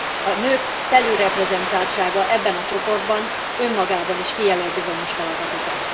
A nők felülreprezentáltsága ebben a csoportban önmagában is kijelöl bizonyos feladatokat.